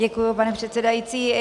Děkuji, pane předsedající.